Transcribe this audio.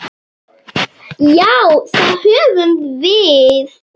Já, það höfum við.